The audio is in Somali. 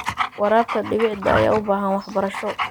Waraabka dhibicda ayaa u baahan waxbarasho.